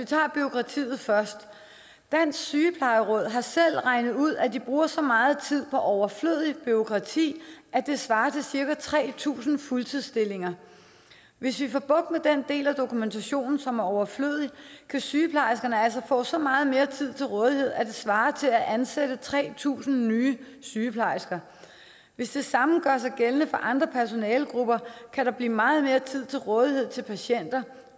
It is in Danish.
tager bureaukratiet først dansk sygeplejeråd har selv regnet ud at de bruger så meget tid på overflødigt bureaukrati at det svarer til cirka tre tusind fuldtidsstillinger hvis vi får bugt med den del af dokumentationen som er overflødig kan sygeplejerskerne altså få så meget mere tid til rådighed at det svarer til at ansætte tre tusind nye sygeplejersker hvis det samme gør sig gældende for andre personalegrupper kan der blive meget mere tid til rådighed til patienter